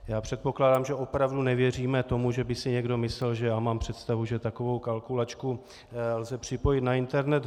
Já předpokládám, že opravdu nevěříme tomu, že by si někdo myslel, že já mám představu, že takovou kalkulačku lze připojit na internet.